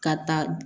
Ka taa